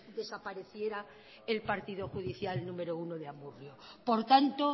desapareciera el partido judicial número uno de amurrio por tanto